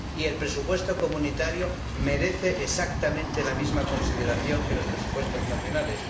Y el presupuesto comunitario merece exactamente la misma consideración que los presupuestos nacionales.